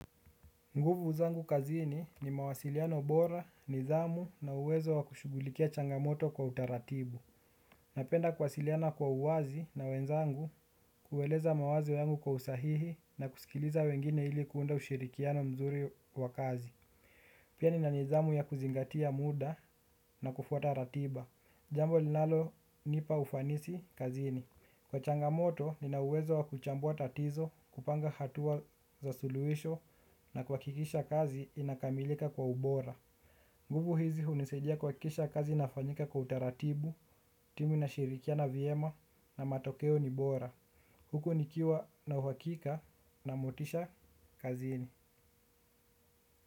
Nguvu zangu kazini ni mawasiliano bora, nidhamu na uwezo wa kushugulikia changamoto kwa utaratibu. Napenda kuwasiliana kwa uwazi na wenzangu kuweleza mawazo yangu kwa usahihi na kusikiliza wengine hili kuunda ushirikiano mzuri wakazi. Pia ni a nidhamu ya kuzingatia muda na kufuata ratiba. Jambo linalonipa ufanisi kazini. Kwa changamoto, nina uwezo wa kuchambua tatizo, kupanga hatua za suluhisho na kuhakikisha kazi inakamilika kwa ubora. Nguvu hizi hunisaidia kuhakikisha kazi ina fanyika kwa utaratibu, timu inashirikiana vyema na matokeo ni bora. Huku nikiwa na uhakika na motisha kazini.